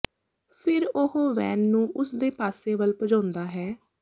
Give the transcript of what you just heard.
ਫਿਰ ਉਹ ਵੈਨ ਨੂੰ ਉਸ ਦੇ ਪਾਸੇ ਵੱਲ ਭਜਾਉਂਦਾ ਹੈ